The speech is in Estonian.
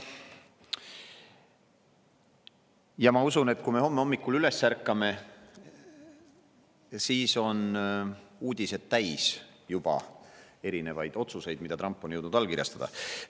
Ja ma usun, et kui me homme hommikul üles ärkame, siis on uudised juba täis otsuseid, mida Trump on jõudnud allkirjastada.